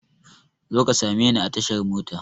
Zo ka same ni a tashar mota!